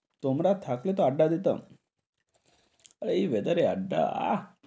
তোমরা থাকলে তো আড্ডা দিতাম আর এই weather এ আড্ডা আহ